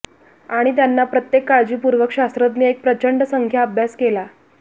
आणि त्यांना प्रत्येक काळजीपूर्वक शास्त्रज्ञ एक प्रचंड संख्या अभ्यास केला